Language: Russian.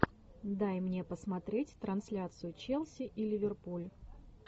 дай мне посмотреть трансляцию челси и ливерпуль